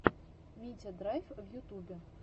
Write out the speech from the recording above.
митя драйв в ютубе